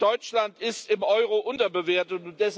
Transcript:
Deutschland ist im Euro unterbewertet.